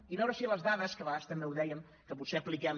i veure si les dades que a vegades també ho dèiem que potser apliquem